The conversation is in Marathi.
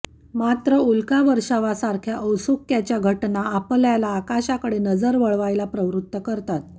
मात्र उल्कावर्षावासारख्या औत्सुक्याच्या घटना आपल्याला आकाशाकडे नजर वळवायला प्रवृत्त करतात